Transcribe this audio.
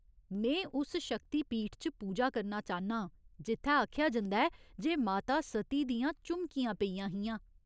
में उस शक्तिपीठ च पूजा करना चाह्न्ना आं जित्थै आखेआ जंदा ऐ जे माता सती दियां झुमकियां पेइयां हियां।